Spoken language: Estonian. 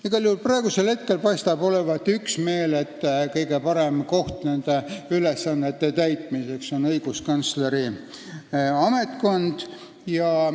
Igal juhul paistab praegu olevat üksmeel, et kõige parem koht nende ülesannete täitmiseks on õiguskantsleri ametkond.